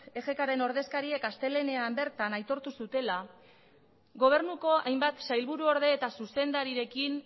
egkren ordezkariek astelehenean bertan aitortu zutela gobernuko hainbat sailburuorde eta zuzendarirekin